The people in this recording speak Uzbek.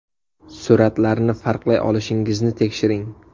Suratlarni farqlay olishingizni tekshiring.